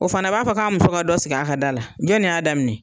O fana b'a fɔ k'a muso ka dɔ sigi a ka da la .Jɔn de y'a daminɛ?